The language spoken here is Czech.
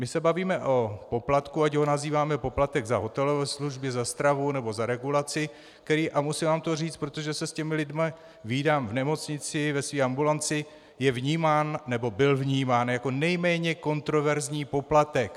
My se bavíme o poplatku, ať ho nazýváme poplatek za hotelové služby, za stravu, nebo za regulaci, který - a musím vám to říci, protože se s těmi lidmi vídám v nemocnici, ve své ambulanci - je vnímán, nebo byl vnímán jako nejméně kontroverzní poplatek.